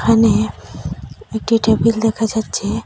এখানে একটি টেবিল দেখা যাচ্ছে।